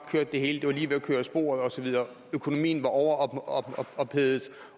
var det hele lige ved at køre af sporet osv at økonomien var overophedet